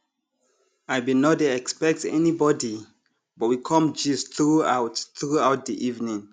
i bin nor dey expect anybody but we com gist throughout throughout di evening